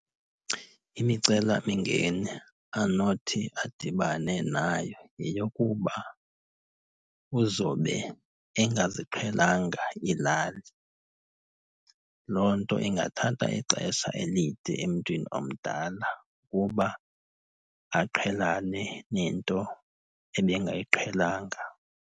Imicelamingeni anothi adibane nayo yeyokuba uzobe engaziqhelanga iilali. Loo nto ingathatha ixesha elide emntwini omdala uba aqhelane nento ebengayiqhelanga.